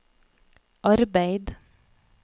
arbeid